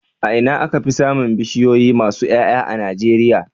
A Ina aka Fi samin bishiyoyi masu Y'ay'a a nigeria